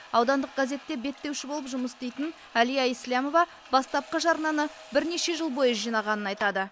аудандық газетте беттеуші болып жұмыс істейтін әлия ислямова бастапқы жарнаны бірнеше жыл бойы жинағанын айтады